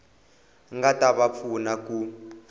nga ta va pfuna ku